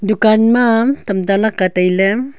dukan ma tamta lakka tailey.